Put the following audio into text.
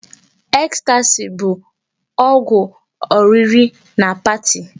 Ecstasy bụ ọgwụ oriri na party.